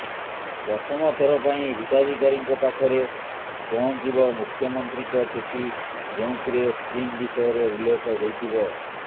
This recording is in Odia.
ପ୍ରଥମ ଥର ପାଇଁ ହିତାଧିକାରୀଙ୍କ ପାଖରେ ପହଞ୍ଚିବ ମୁଖ୍ୟମନ୍ତ୍ରୀଙ୍କ ଚିଠି ଯେଉଁଥିରେ ସ୍କିମ୍ ବିଷୟରେ ଉଲ୍ଲେଖ ହୋଇଥିବ